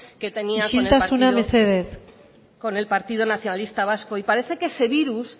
que tenían isiltasuna con el partido nacionalista vasco y parece que ese virus